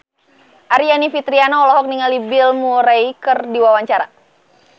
Aryani Fitriana olohok ningali Bill Murray keur diwawancara